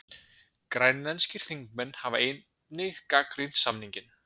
Grænlenskir þingmenn hafa einnig gagnrýnt samninginn